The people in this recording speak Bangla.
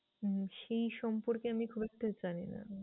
হম সেই সম্পর্কে আমি খুব একটা জানি না।